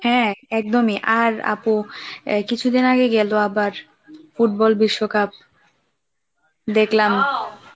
হ্যাঁ একদমই আর আপু কিছুদিন আগে গেল আবার ফুটবল বিশ্বকাপ দেখলাম